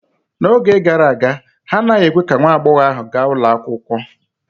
N'oge gara aga, ha anaghị ekwe ka nwa agbọghọ ahụ gaa ụlọ akwụkwọ